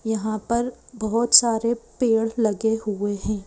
यहां पर बहोत सारे पेड़ लगे हुए हैं।